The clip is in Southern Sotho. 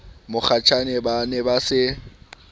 mokgatjhane ba ne ba se